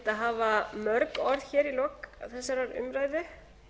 hafa mörg orð hér í lok þessarar umræðu